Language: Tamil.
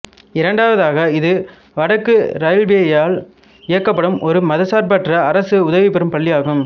இரண்டாவதாக இது வடக்கு ரயில்வேயால் இயக்கப்படும் ஒரு மதச்சார்பற்ற அரசு உதவிபெறும் பள்ளியாகும்